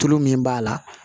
Tulu min b'a la